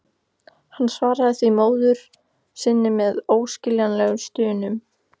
Hann svaraði því móður sinni með óskiljanlegri stunu.